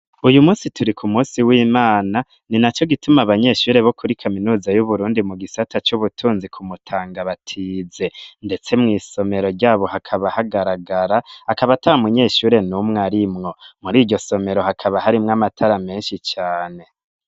Uyu turi ku munsi w'Imana ni naco gituma abanyeshure bo kuri kaminuza y'Uburundi mu gisata c'ubutunzi ku Mutanga batize, ndetse mw'isomero ryabo hakaba hagaragara, akaba ata munyeshure numwe arimwo. Muri iryo somero hakaba harimwo amatara menshi cane.